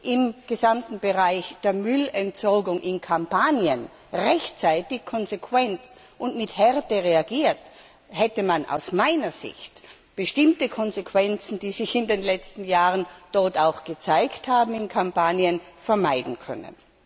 im gesamten Bereich der Müllentsorgung in Kampanien rechtzeitig konsequent und mit Härte reagiert, hätte man aus meiner Sicht bestimmte Konsequenzen, die sich in den letzten Jahren dort gezeigt haben, vermeiden können.